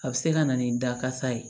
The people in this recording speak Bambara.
A bɛ se ka na ni dakasa ye